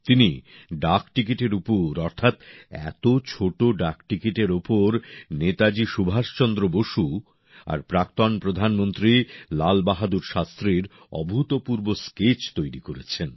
তিনি ডাকটিকিটের উপর অর্থাৎ এত ছোট ডাকটিকিটের উপর নেতাজি সুভাষচন্দ্র বসু আর প্রাক্তন প্রধানমন্ত্রী লালবাহাদুর শাস্ত্রীর অভূতপূর্ব স্কেচ তৈরি করেছেন